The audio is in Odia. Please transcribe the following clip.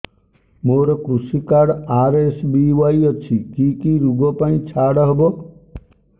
ମୋର କୃଷି କାର୍ଡ ଆର୍.ଏସ୍.ବି.ୱାଇ ଅଛି କି କି ଋଗ ପାଇଁ ଛାଡ଼ ହବ